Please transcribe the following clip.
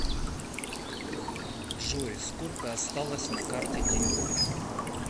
джой сколько осталось на карте тинькофф